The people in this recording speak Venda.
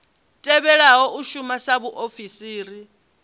tevhelaho u shuma sa vhaofisiri